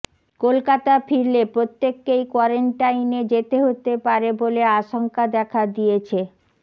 কলকাতা ফিরলে প্রত্যেককেই কোয়ারেন্টাইনে যেতে হতে পারে বলে আশঙ্কা দেখা দিয়েছে